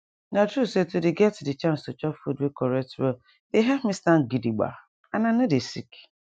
na true say to dey get de chance to chop food wey correct well dey help me stand gidigba and i nor dey sick